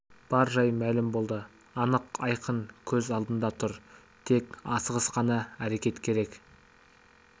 бар жай мәлім болды анық айқын көз алдында тұр тек асығыс қана әрекет керек